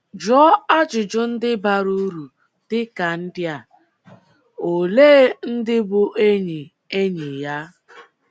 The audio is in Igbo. Jụọ ajụjụ ndị bara uru, dị ka ndị a: Olee ndị bụ́ enyi enyi ya?